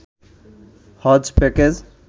হজ্জ package